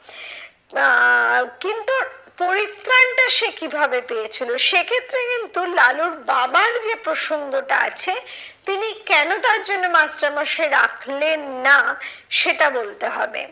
পরিত্রাণতা সে কিভাবে পেয়েছিল, সেক্ষেত্রে কিন্তু লালুর বাবার যে প্রসঙ্গটা আছে, তিনি কেন তার জন্য মাস্টারমশাই রাখলেন না সেটা বলতে হবে।